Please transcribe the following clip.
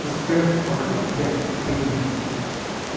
посмотрев в окно я кивнул